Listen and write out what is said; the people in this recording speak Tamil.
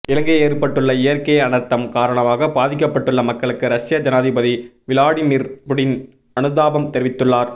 இலங்கையில் ஏற்பட்டுள்ள இயற்கை அனர்த்தம் காரணமாக பாதிக்கப்பட்டுள்ள மக்களுக்கு ரஷ்ய ஜனாதிபதி விளாடிமிர் புடின் அனுதாபம் தெரிவித்துள்ளார்